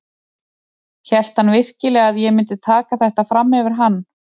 Hélt hann virkilega að ég myndi taka þetta fram yfir hann?